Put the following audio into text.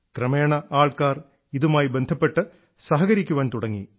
ക്രമേണ ആൾക്കാർ ഇതുമായി ബന്ധപ്പെട്ടു സഹകരിക്കാൻ തുടങ്ങി